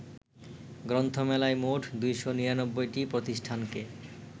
গ্রন্থমেলায় মোট ২৯৯টি প্রতিষ্ঠানকে